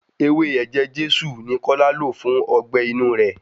Ewé ẹ̀jẹ Jésù ni kí Lọlá lò fún ọgbẹ́-inú rẹ̀.